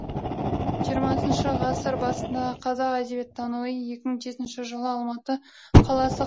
жиырмасыншы ғасыр басындағы қазақ әдебиеттануы екі мың жетінші жылы алматы қаласы